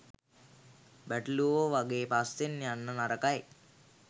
බැටළුවෝ වගේ පස්සෙන් යන්න නරකයි.